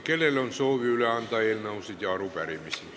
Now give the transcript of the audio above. Kellel on soovi üle anda eelnõusid ja arupärimisi?